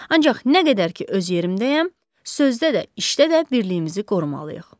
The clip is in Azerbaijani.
Ancaq nə qədər ki öz yerimdəyəm, sözdə də, işdə də birliyimizi qorumalıyıq.